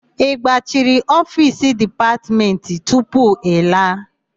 Ị gbachiri ofiisi Dipatmentị tupu ị laa?